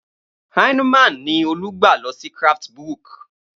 Heineman ni Olú gbà lọ sí Craftsbook.